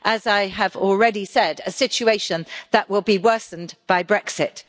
As I have already said, a situation that will be worsened by Brexit.